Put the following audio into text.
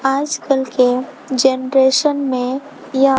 आजकल के जेनरेशन में य--